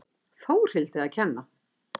Þórhildi að kenna.